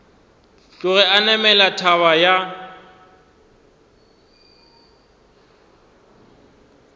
tloge a namela thaba ya